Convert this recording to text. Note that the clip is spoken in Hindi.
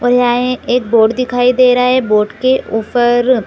और यहाँ एक बोर्ड दिखाई दे रहा है। बोर्ड के ऊपर अ--